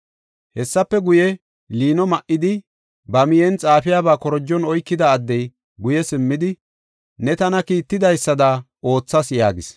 Hessafe guye, liino ma7idi, ba miyen xaafiyabaa korojon oykida addey, guye simmidi, “Ne tana kiittidaysada oothas” yaagis.